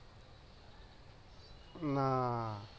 না